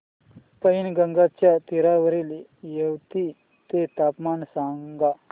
पैनगंगेच्या तीरावरील येवती चे तापमान सांगा